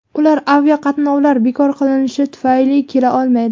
Ular aviaqatnovlar bekor qilingani tufayli kela olmaydi.